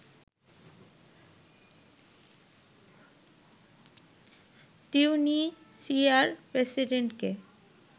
তিউনিসিয়ার প্রেসিডেন্টকে